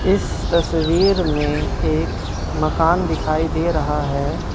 इस तस्वीर में एक मकान दिखाई दे रहा है।